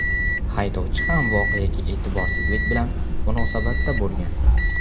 Haydovchi ham voqeaga e’tiborsizlik bilan munosabatda bo‘lgan.